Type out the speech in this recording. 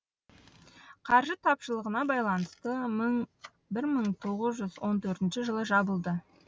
қаржы тапшылығына байланысты бір мың тоғыз жүз он төртінші жылы жабылды